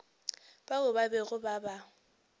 bao ba bego ba ba